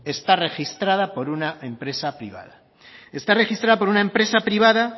está registrada por una empresa privada esta registrada por una empresa privada